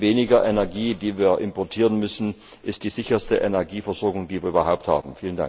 Denn weniger Energie, die wir importieren müssen, ist die sicherste Energieversorgung, die wir überhaupt haben.